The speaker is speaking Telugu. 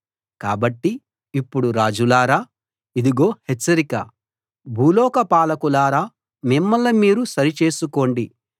కాబట్టి ఇప్పుడు రాజులారా ఇదుగో హెచ్చరిక భూలోక పాలకులారా మిమ్మల్ని మీరు సరిచేసుకోండి